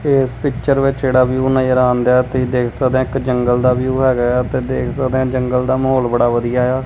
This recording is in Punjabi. ਇਸ ਪਿੱਚਰ ਵਿੱਚ ਜਿਹੜਾ ਵਿਊ ਨਜ਼ਰ ਆਂਦੈ ਤੁਹੀ ਦੇਖ ਸਕਦੇ ਹੋ ਇੱਕ ਜੰਗਲ ਦਾ ਵਿਊ ਹੈਗਾ ਇਆ ਤੇ ਦੇਖ ਸਕਦੇ ਆ ਜੰਗਲ ਦਾ ਮਾਹੌਲ ਬੜਾ ਵਧੀਆ ਇਆ।